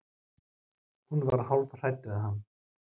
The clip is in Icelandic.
Hún var hálf hrædd við hann.